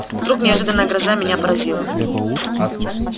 вдруг неожиданная гроза меня поразила